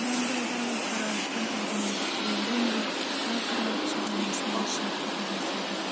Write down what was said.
анандайдағы қарауытқан әлденеге тірелгенде бақырайып шарасынан шығып кете жаздады